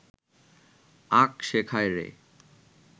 আঁক শেখায় রে